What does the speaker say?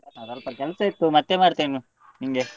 ಸ್ವಲ್ಪ ಕೆಲಸ ಇತ್ತು ಮತ್ತೆ ಮಾಡ್ತೇನೆ ನಿಂಗೆ.